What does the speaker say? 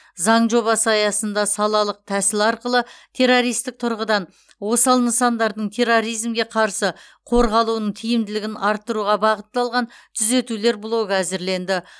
заң жобасы аясында салалық тәсіл арқылы террористік тұрғыдан осал нысандардың терроризмге қарсы қорғалуының тиімділігін арттыруға бағытталған түзетулер блогы әзірленді